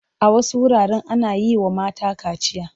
A wasu wuraren ana yi wa mata kaciya.